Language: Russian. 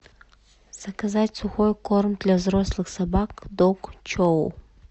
заказать сухой корм для взрослых собак дог чоу